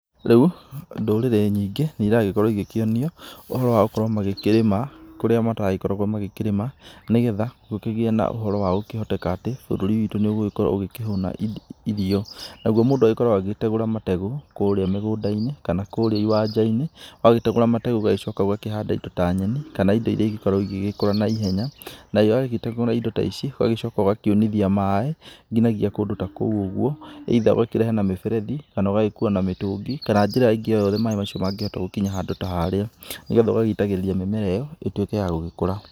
Rĩu, ndũrĩrĩ nyingĩ, nĩiragĩkorwo igĩkĩonio ũhoro wa gũkorwo magĩkĩrĩma kũrĩa mataragĩkoragwo magĩkĩrĩma, nĩgetha gũkĩgĩe na ũhoro wa gũkĩhoteka atĩ, bũrũri witũ nĩũgũgĩkorwo ũgĩkĩhũna irio, nagwo mũndũ agĩkoragwo agĩtegũra mategũ kũrĩa mĩgũnda-inĩ kana kũrĩa iwanja-inĩ wagĩtegũra mategũ ũgagĩcoka ũgakĩhanda indo ta nyeni kana indo iria ingĩkorwo igĩgĩkũra na ihenya nayo wagĩtegũra indo ta ici ũgagĩcoka ũgakiunithia maĩ nginya gia kũndũ ta kũu ũguo either ũgakĩrehe na mĩberethi, kana ũgagĩkua na mĩtũngi kana njĩra ĩngĩ o yothe maĩ macio mangĩhota gũkinya handũ ta harĩa nĩgetha ũgagĩitagĩrĩria mĩmera ĩyo, ĩtuĩke ya gũgĩkũra.